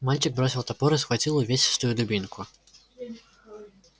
мальчик бросил топор и схватил увесистую дубинку